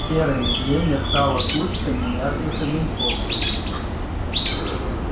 в серой мгле мерцала кучка неярких огоньков